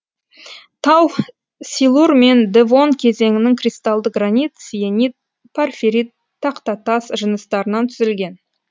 тау силур мен девон кезеңінің кристалды гранит сиенит порфирит тақтатас жыныстарынан түзілген